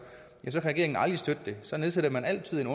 ja så kan regeringen aldrig støtte det så nedsætter man altid et